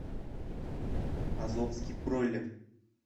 азовский бройлер